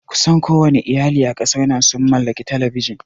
Kusan kowanne iyali a ƙasar nan sun mallaki Talabijin